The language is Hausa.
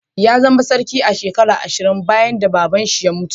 Ya zama sarki a'shekaran ashirin bayan da baba'n shi ya mutu.